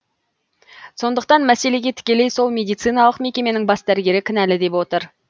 сондықтан мәселеге тікелей сол медициналық мекеменің бас дәрігері кінәлі деп отыр